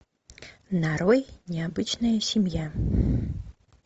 нарой необычная семья